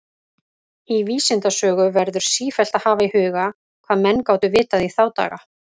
Í vísindasögu verður sífellt að hafa í huga, hvað menn gátu vitað í þá daga.